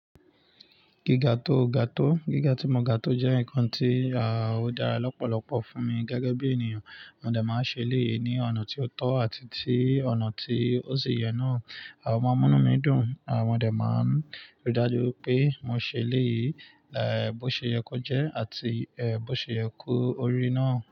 Giga to ga to? Giga ti mo ga to jẹ nkan ti o dara lọpọlọpọ fun mi gẹgẹ bi eniyan. Mo dẹ máa ń ṣe eléyìí ní ọ̀nà tí ó tọ́ àti tí ọ̀nà tí ó si yẹ náà. O mọ́ń mu inu mi dùn, mo dẹ̀ máa ń rí dájú wi pé mo ṣe eléyìí, bó ṣe yẹ kó jẹ́ àti, bó ṣe yẹ kó rí naa.